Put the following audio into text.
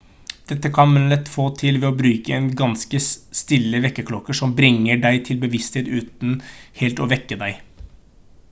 dette kan man lett få til ved å bruke en ganske stille vekkerklokke som bringer deg til bevissthet uten helt å vekke deg